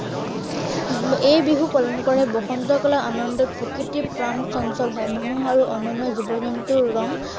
এই বিহু পালন কৰে বসন্তকালত আনন্দত প্ৰকৃতিৰ প্ৰাণ চঞ্চল হয়। মানুহ আৰু অন্য়ান্য় জীৱ জ্তুৰ ৰং